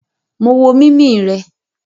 Mo wo mimi rẹ..